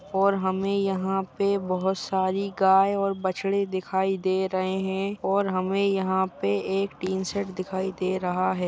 और हमें यह पे बोहोत सारी गाय और बछड़े दिखाई दे रहें हैं और हमें यहाँ पे एक टीन शेड दिखाई दे रहा है।